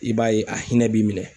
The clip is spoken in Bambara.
I b'a ye, a hinɛ b'i minɛ.